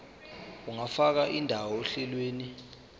ungafaka indawo ohlelweni